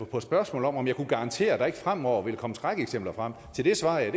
på spørgsmålet om om jeg kunne garantere at der ikke fremover vil komme skrækeksempler frem svarede